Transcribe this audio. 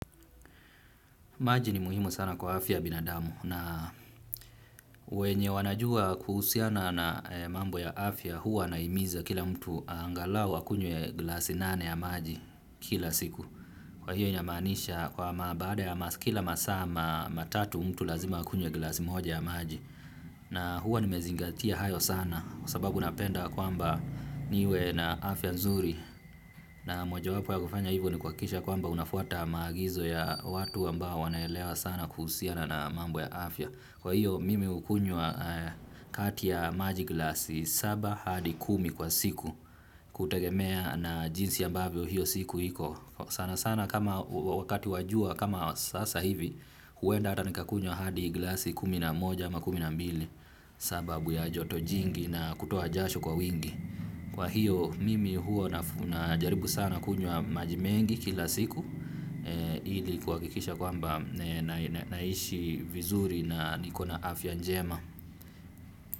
Maji ni muhimu sana kwa afya binadamu na wenye wanajua kuhusiana na mambo ya afya huwa na himiza kila mtu angalau akunywe glasi nane ya maji kila siku. Kwa hiyo inamaanisha kwa mabaada ya masaa kila masaa matatu mtu lazima akunye glasi moja ya maji. Na huwa nimezingatia hayo sana sababu napenda kwamba niwe na afya nzuri. Na moja wapo ya kufanya hivyo ni kuhakikisha kwamba unafuata maagizo ya watu ambao wanaelewa sana kuhusiana na mambo ya afya. Kwa hiyo mimi hukunywa kati ya maji glasi saba hadi kumi kwa siku kutegemea na jinsi ambavyo hiyo siku hiko. Sana sana kama wakati wa jua kama sasa hivi huenda hata nikakunywa hadi glasi kumi na moja ama kumi na mbili. Sababu ya joto jingi na kutoa jasho kwa wingi. Kwa hiyo mimi huwa na jaribu sana kunywa majimengi kila siku. Ili kuhakikisha kwamba naishi vizuri na nikona afya njema.